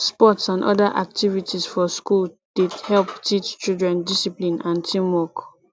sports n other activities for school dey help teach children discipline and teamwork